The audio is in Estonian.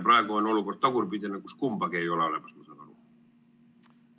Praegu on olukord tagurpidi, kus kumbagi ei ole olemas, ma saan aru.